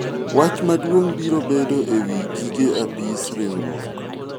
wach maduong' biro bedo ewi gige apis riwruok